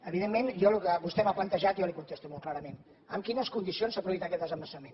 evidentment jo el que vostè m’ha plantejat jo li contesto molt clarament en quines condicions s’ha produït aquest desembassament